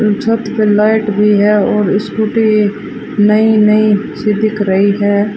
छत पे लाइट भी है और स्कूटी नई नई सी दिख रही है।